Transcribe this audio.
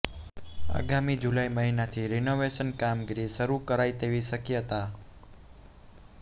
આગામી જુલાઇ મહિનાથી રિનોવેશનની કામગીરી શરૃ કરાય તેવી શક્યતા